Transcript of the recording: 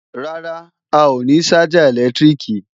Rárá, a ò ní ṣájà ẹ̀lẹ́tíríkì